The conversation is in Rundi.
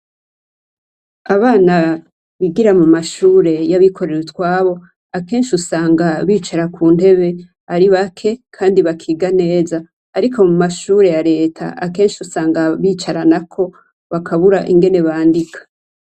Abana bigira mu mashure yabikorera utwabo ,akenshi usanga bicara kuntebe ari bake kandi bakiga neza, ariko m'y mashure ya reta akenshi usanga bicaranako bakabura n'ingene biga .